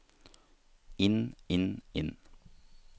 inn inn inn